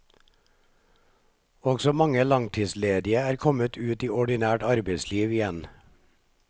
Også mange langtidsledige er kommet ut i ordinært arbeidsliv igjen.